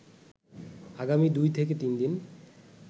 আগামি দুই থেকে তিনদিন